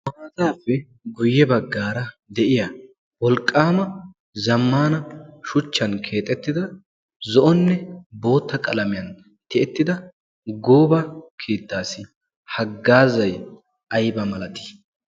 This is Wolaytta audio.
haataappe guyye baggaara de'iya wolqqaama zammana shuchchan keexettida zo'onne bootta qalamiyan tiyettida gooba keittaassi haggaazay ayba malatii?